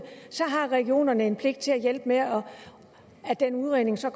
så har regionerne en pligt til at hjælpe med at den udredning så